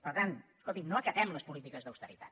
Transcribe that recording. per tant escolti’m no acatem les polítiques d’austeritat